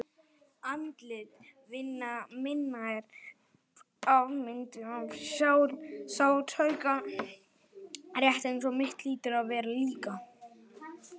Andlit vina minna eru afmynduð af sársauka, rétt eins og mitt hlýtur að vera líka.